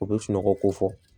O bɛ sunɔgɔ ko fɔ